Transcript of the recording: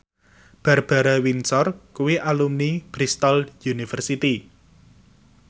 Barbara Windsor kuwi alumni Bristol university